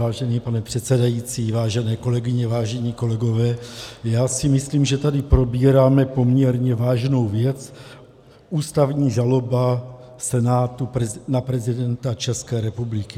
Vážený pane předsedající, vážené kolegyně, vážení kolegové, já si myslím, že tady probíráme poměrně vážnou věc, ústavní žalobu Senátu na prezidenta České republiky.